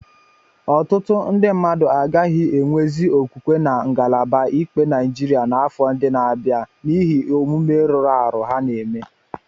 Ọtụtụ ndị mmadụ agaghị enwezị okwukwe na ngalaba ikpe Naịjirịa n'afọ ndị na-abịa n'ihi omume rụrụ arụ ha na eme.